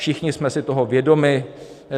Všichni jsme si toho vědomi.